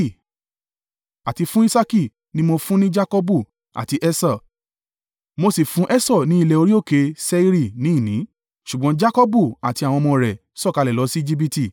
àti fún Isaaki ni mo fún ní Jakọbu àti Esau, mo sì fún Esau ní ilẹ̀ orí òkè Seiri ní ìní, ṣùgbọ́n Jakọbu àti àwọn ọmọ rẹ̀ sọ̀kalẹ̀ lọ sí Ejibiti.